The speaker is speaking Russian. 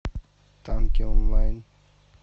танки онлайн